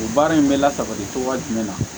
O baara in bɛ lasabali cogoya jumɛn na